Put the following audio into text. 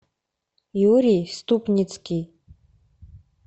юрий ступницкий